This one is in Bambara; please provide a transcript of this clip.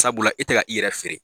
Sabula e tɛ ka i yɛrɛ feere.